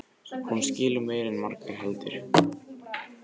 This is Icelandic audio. Hún skilur meira en margur heldur.